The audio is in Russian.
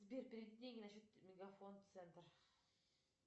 сбер переведи деньги на счет мегафон центр